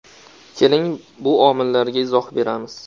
Keling, bu omillarga izoh beramiz.